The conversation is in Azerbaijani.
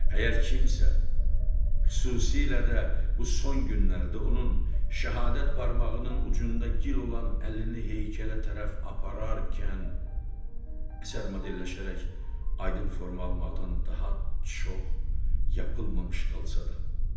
Əgər kimsə, xüsusilə də bu son günlərdə onun şəhadət barmağının ucunda gil olan əlini heykələ tərəf apararkən, əsər modelləşərək aydın forma almaqdan daha çox yapılmamış qalsa da.